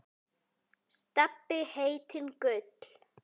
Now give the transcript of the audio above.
Stebbi heitinn Gull.